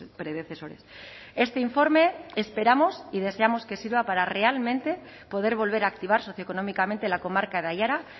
predecesores este informe esperamos y deseamos que sirva para realmente poder volver a activar socioeconómicamente la comarca de aiara